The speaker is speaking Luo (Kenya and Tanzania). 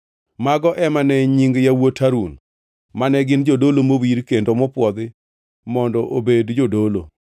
Mago ema ne nying yawuot Harun, mane gin jodolo mowir kendo mopwodhi mondo obed jodolo.